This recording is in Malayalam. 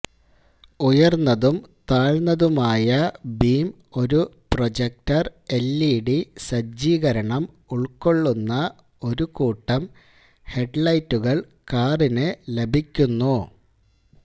ഉയര്ന്നതും താഴ്ന്നതുമായ ബീം ഒരു പ്രൊജക്ടര് എല്ഇഡി സജ്ജീകരണം ഉള്ക്കൊള്ളുന്ന ഒരു കൂട്ടം ഹെഡ് ലൈറ്റുകള് കാറിന് ലഭിക്കുന്നു